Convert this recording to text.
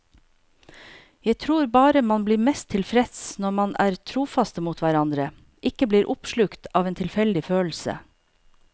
Jeg tror bare man blir mest tilfreds når man er trofaste mot hverandre, ikke blir oppslukt av en tilfeldig følelse.